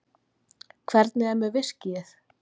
Hvernig er með viskíið?